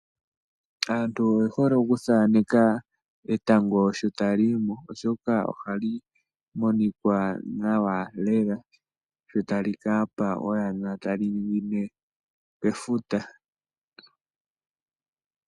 Aantu oye hole okuthaaneka etango sho tali yimo oshoka ohali monika nawa lela sho tali ka pa oyana tali ningine mefuta.